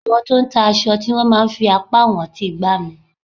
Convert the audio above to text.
Àwọn tó ń ta aṣọ tí wón máa ń fi apá wọn ń ti gbá mi.